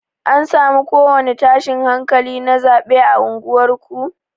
An samu ko wani tashin hankali na zaɓe a unguwar ku?